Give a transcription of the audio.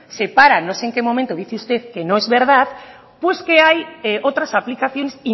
se para no sé en qué momento dice usted que no es verdad pues que hay otras aplicaciones